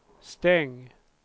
stäng